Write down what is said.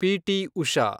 PT. Usha